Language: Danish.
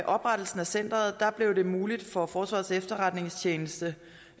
oprettelsen af centeret blev det muligt for forsvarets efterretningstjeneste